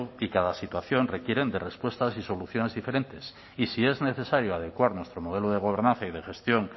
y cada situación requieren de respuestas y soluciones diferentes y si es necesario adecuar nuestro modelo de gobernanza y de gestión